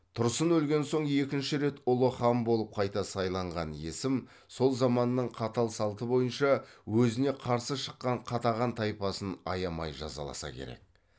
тұрсын өлген соң екінші рет ұлы хан болып қайта сайланған есім сол заманның қатал салты бойынша өзіне қарсы шыққан қатаған тайпасын аямай жазаласа керек